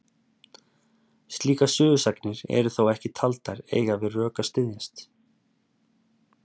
slíkar sögusagnir eru þó ekki taldar eiga við rök að styðjast